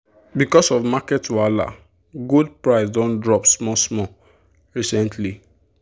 because of market wahala gold price don drop small small recently.